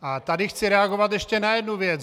A tady chci reagovat ještě na jednu věc.